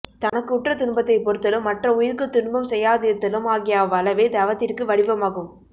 தனக்கு உற்ற துன்பத்தை பொறுத்தலும் மற்ற உயிர்க்குத் துன்பம் செய்யாதிருத்தலும் ஆகிய அவ்வளவே தவத்திற்கு வடிவமாகும்